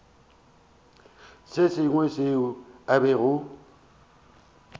se sengwe seo a bego